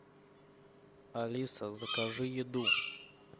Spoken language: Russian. алиса закажи еду